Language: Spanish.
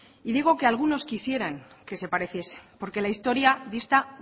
y digo que algunos quisieran que se pareciese porque la historia dista